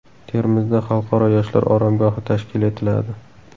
Termizda xalqaro yoshlar oromgohi tashkil etiladi.